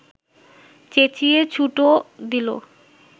চেঁচিয়ে ছুটও দিল